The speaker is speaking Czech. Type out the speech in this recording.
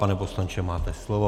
Pane poslanče, máte slovo.